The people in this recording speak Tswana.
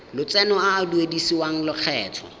lotseno a a duedisiwang lokgetho